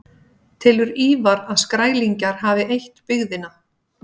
Telur Ívar að Skrælingjar hafi eytt byggðina.